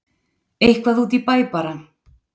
Eitthvað út í bæ bara.